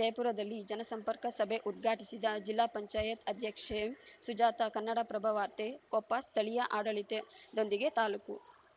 ಜಯಪುರದಲ್ಲಿ ಜನಸಂಪರ್ಕ ಸಭೆ ಉದ್ಘಾಟಿಸಿದ ಜಿಲ್ಲಾ ಪಂಚಾಯತ್ ಅಧ್ಯಕ್ಷೆ ಸುಜಾತ ಕನ್ನಡಪ್ರಭ ವಾರ್ತೆ ಕೊಪ್ಪ ಸ್ಥಳೀಯ ಆಡಳಿತೆ ದೊಂದಿಗೆ ತಾಲೂಕು